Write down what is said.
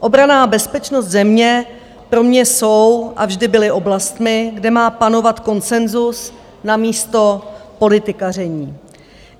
Obrana a bezpečnost země pro mě jsou a vždy byly oblastmi, kde má panovat konsenzus namísto politikaření.